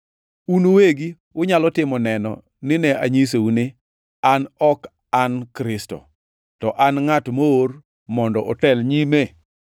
Un uwegi unyalo timo neno ni ne anyisou ni, ‘An ok an Kristo, to an ngʼat moor mondo otel nyime.’